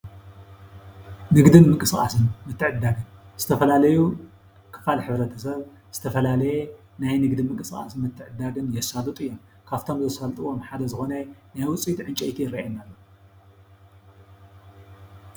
ንግድን ምንቅስቃስን ምትዕድዳግን ዝተፈላለዩ ክፋል ሕብረት-ሰብ ዝተፈላለዩ ናይ ንግዲ ምንቅስቃስን ምትዕድዳግን ዘሳልጡ እዮም። ካብቶም ዘሳልጥዎም ሓደ ዝኮነ ናይውጽኢት ዕንጨይቲ ይረኣየና ።